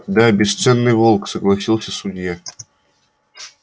да бесценный волк согласился судья